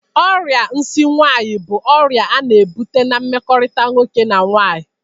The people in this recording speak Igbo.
Ọrịa nsi nwaanyị bụ ọrịa a na-ebụta na mmekọrịta nwoke na nwaanyị.